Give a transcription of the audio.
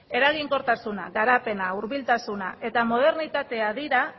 eraginkortasuna garapena hurbiltasuna eta modernitatea dira